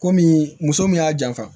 Komi muso min y'a janfa